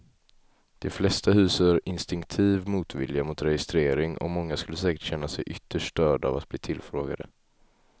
De flesta hyser instinktiv motvilja mot registrering och många skulle säkert känna sig ytterst störda av att bli tillfrågade.